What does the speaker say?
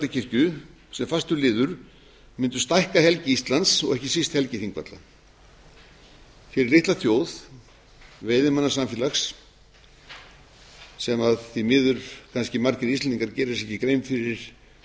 þingvallakirkju sem fastur liður mundu stækka helgi íslands og ekki síst helgi þingvalla fyrir litla þjóð veiðimannasamfélags sem því miður kannski margir íslendingar gera sér ekki grein fyrir að